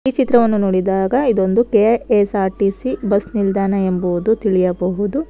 ಈ ಚಿತ್ರವನ್ನು ನೋಡಿದಾಗ ಇದು ಒಂದು ಕೆ_ಎಸ್_ಆರ್_ಟಿ_ಸಿ ಬಸ್ ನಿಲ್ದಾಣ ಎಂಬುವುದು ತಿಳಿಯಬಹುದು.